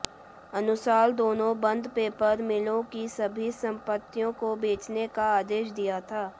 अनुसार दोनों बंद पेपर मिलों की सभी संपत्तियों को बेचने का आदेश दिया था